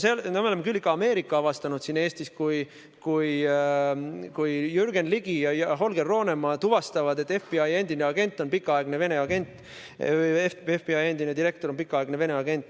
Me oleme ikka tõesti siin Eestis Ameerika avastanud, kui Jürgen Ligi ja Holger Roonemaa tuvastavad, et FBI endine agent on pikaaegne Vene agent, FBI endine direktor on pikaaegne Vene agent.